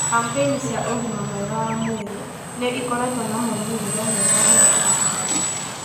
Kampeini cia ũgima mwega wa mwĩrĩ nĩ ĩkoretwo na moimĩrĩro mega harĩ kũruta andũ